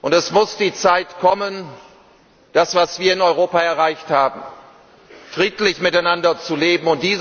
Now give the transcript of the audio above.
Es muss die Zeit kommen für das, was wir in Europa erreicht haben friedlich miteinander zu leben.